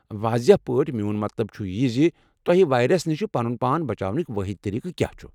واضح پٲٹھۍ، میون مطلب چُھ یہِ زِ تۄہہ وایرس نش پنُن پان بچاونک وٲحد طٔریقہٕ کیا چُھ۔